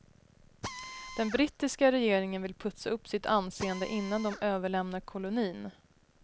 Den brittiska regeringen vill putsa upp sitt anseende innan de överlämnar kolonin.